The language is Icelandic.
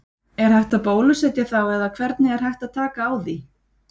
Er hægt að bólusetja þá eða hvernig er hægt áð taka á því?